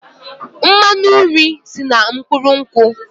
Mmanụ nri si na mkpụrụ nkwụ